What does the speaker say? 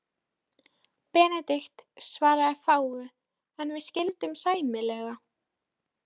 Benedikt svaraði fáu, en við skildum sæmilega.